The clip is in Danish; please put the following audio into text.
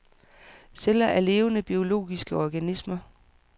Celler er levende, biologiske organismer.